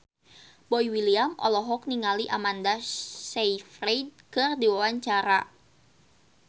Boy William olohok ningali Amanda Sayfried keur diwawancara